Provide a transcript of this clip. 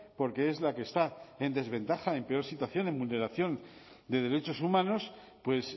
porque es la que está en desventaja en peor situación de vulneración de derechos humanos pues